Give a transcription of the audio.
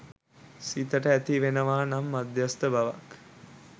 සිතට ඇතිවෙනවා නම් මධ්‍යස්ථ බවක්